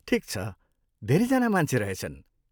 ठिक छ, धेरै जना मान्छे रहेछन्।